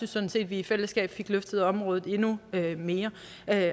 sådan set at vi i fællesskab fik løftet området endnu mere